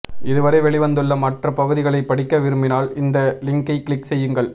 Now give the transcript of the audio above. இதுவரை வெளிவந்துள்ள மற்ற பகுதிகளை படிக்க விரும்பினால் இந்த லிங்கைக் க்ளிக் செய்யுங்கள்